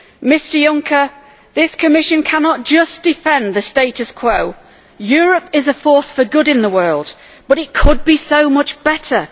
Mr Juncker, this Commission cannot just defend the status quo. Europe is a force for good in the world but it could be so much better.